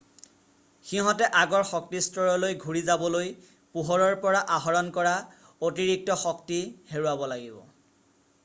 সিহতে আগৰ শক্তিস্তৰলৈ ঘূৰি যাবলৈ পোহৰৰ পৰা আহৰণ কৰা অতিৰিক্ত শক্তি হেৰুৱাব লাগিব